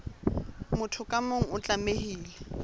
motho ka mong o tlamehile